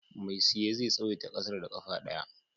Mai siye zai tsawaita ƙasar da ƙafa ɗaya.